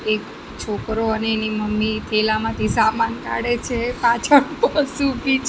એક છોકરો અને એની મમ્મી થેલામાંથી સામાન કાઢે છે પાછળ બસ ઊભી છ--